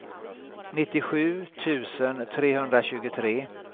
nittiosju tusen trehundratjugotre